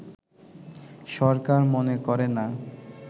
সরকার মনে করে না